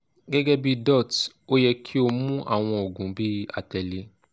gẹgẹbi dots o yẹ ki o mu awọn oogun bi atẹle